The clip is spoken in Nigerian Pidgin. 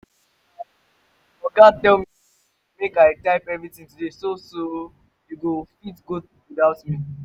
my um oga tell me say make i type everything today so so you go fit go without me